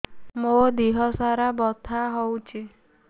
ମୋ ଦିହସାରା ବଥା ହଉଚି